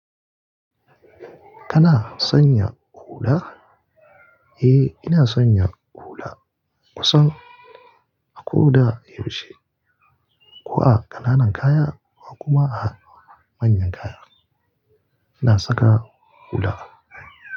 Kana sanya hula? Eh, ina sanya hula kusan a ko da yaushe, ko a ƙananan kaya ko kuma a manyan kaya. Ina saka hula.